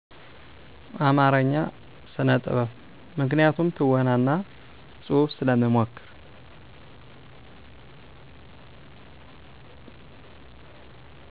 አማረኛ ስነጥበብ ምክንያቱም ትወና እና ጽሁፍ ስለምሞክር